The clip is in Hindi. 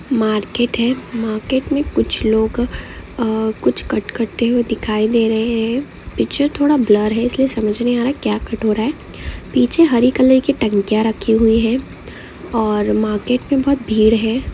मार्केट है मार्केट मे कुछ लोग आह कुछ कट करते हुए दिखाई दे रहे है पीछे थोड़ा ब्लर है इसलिए समझ नहीं आ रहा है क्या कट हो रहा है पीछे हरे कलर कि टंकिया रखी हुई है और मार्केट मे बहुत भीड़ है ।